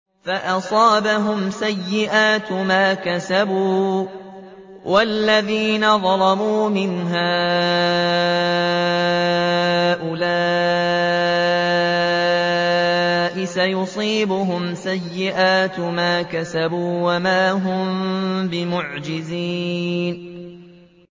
فَأَصَابَهُمْ سَيِّئَاتُ مَا كَسَبُوا ۚ وَالَّذِينَ ظَلَمُوا مِنْ هَٰؤُلَاءِ سَيُصِيبُهُمْ سَيِّئَاتُ مَا كَسَبُوا وَمَا هُم بِمُعْجِزِينَ